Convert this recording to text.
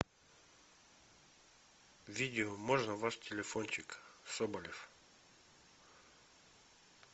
видео можно ваш телефончик соболев